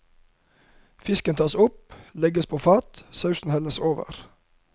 Fisken tas opp, legges på fat, sausen helles over.